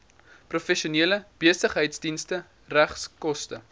professionele besigheidsdienste regskoste